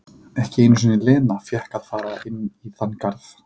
Ekki einu sinni Lena fékk að fara inn í þann garð.